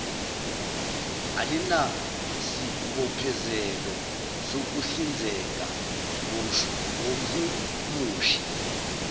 alinasibophezelo sokuhlinzeka ngomhumushi